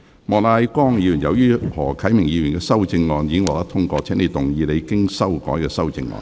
莫乃光議員，由於何啟明議員的修正案已獲得通過，請動議你經修改的修正案。